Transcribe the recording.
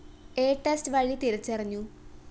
A test വഴി തിരിച്ചറിഞ്ഞു